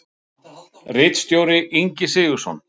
Ritstjóri Ingi Sigurðsson.